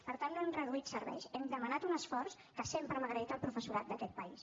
per tant no hem reduït serveis hem demanat un esforç que sempre hem agraït al professorat d’aquest país